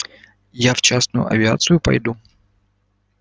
я в частную авиацию пойду